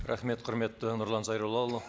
рахмет құрметті нұрлан зайроллаұлы